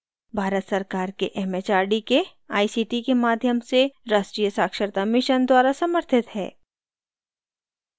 भारत सरकार के एमएचआरडी के आईसीटी के माध्यम से राष्ट्रीय साक्षरता mission द्वारा समर्थित है